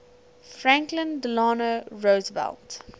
franklin delano roosevelt